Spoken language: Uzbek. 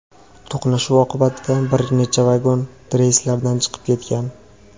To‘qnashuv oqibatida bir nechta vagon relslardan chiqib ketgan.